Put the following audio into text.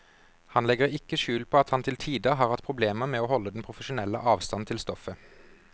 Han legger ikke skjul på at han til tider har hatt problemer med å holde den profesjonelle avstand til stoffet.